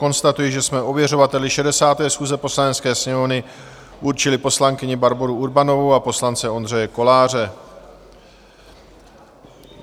Konstatuji, že jsme ověřovateli 60. schůze Poslanecké sněmovny určili poslankyni Barboru Urbanovou a poslance Ondřeje Koláře.